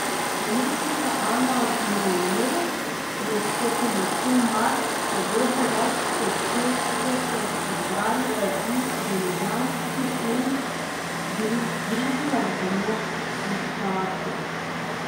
Umetnica Ana Mrovlje je s pomočjo mask podobe več kot šestdeset izbranih ljudi z ljubljanskih ulic združila v eno instalacijo.